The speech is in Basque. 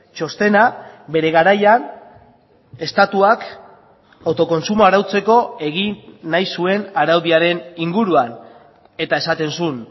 txostena bere garaian estatuak autokontsumoa arautzeko egin nahi zuen araudiaren inguruan eta esaten zuen